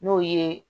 N'o ye